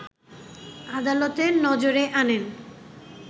আদালতের নজরে আনেন